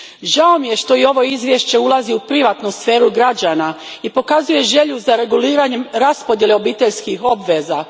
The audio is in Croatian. Žao mi je što i ovo izvješće ulazi u privatnu sferu građana i pokazuje želju za reguliranjem raspodijele obiteljskih obveza.